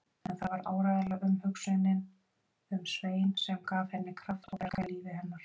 En það var áreiðanlega umhugsunin um Svein sem gaf henni kraft og bjargaði lífi hennar.